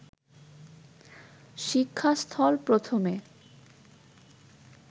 শিক্ষাস্থল প্রথমে